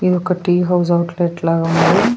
ఇది ఒక tea house outlet లాగా ఉంది.